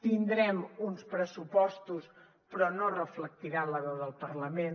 tindrem uns pressupostos però no reflectiran la veu del parlament